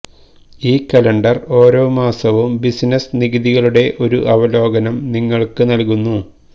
ഈ കലണ്ടർ ഓരോ മാസവും ബിസിനസ്സ് നികുതികളുടെ ഒരു അവലോകനം നിങ്ങൾക്ക് നൽകുന്നു